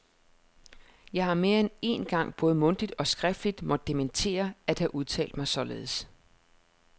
Jeg har mere end én gang både mundtligt og skriftligt måtte dementere at have udtalt mig således.